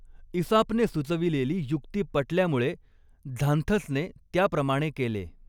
इसापने सुचविलेली युक्ती पटल्यामुळे झांथसने त्याप्रमाणे केले.